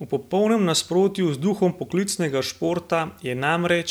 V popolnem nasprotju z duhom poklicnega športa je namreč,